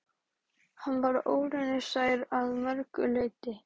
Hann var óraunsær að mörgu leyti.